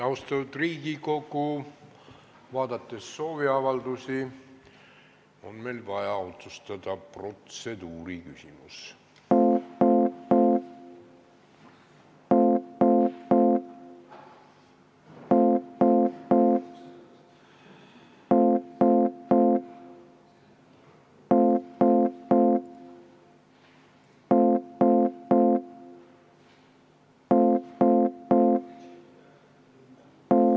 Austatud Riigikogu, vaadates sooviavaldusi, on selge, et meil on vaja otsustada protseduuriküsimus.